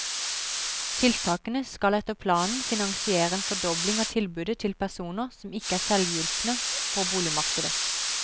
Tiltakene skal etter planen finansiere en fordobling av tilbudet til personer som ikke er selvhjulpne på boligmarkedet.